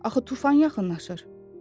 Axı tufan yaxınlaşır.